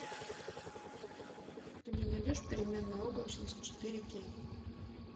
ты мне найдешь переменная облачность четыре кей